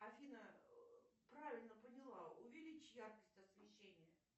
афина правильно поняла увеличь яркость освещения